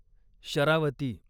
Sharavati